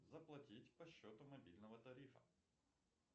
заплатить по счету мобильного тарифа